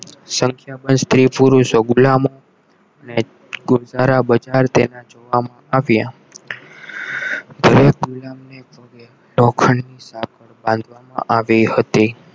સંખ્યા માં સ્ત્રી-પુરુષો ગુલામ ને બજાર તેમાં જોવામાં આવ્યા દરેક ગુલામને લોખંડની સાંકળ બાંધવામાં આવી હતી